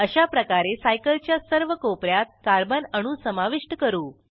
अशाप्रकारे सायकल च्या सर्व कोप यात कार्बन अणू समाविष्ट करू